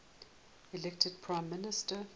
elected prime minister